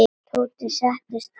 Tóti settist fyrir aftan.